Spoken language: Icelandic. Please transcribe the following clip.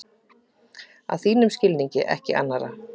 Að þínum skilningi, ekki annarra.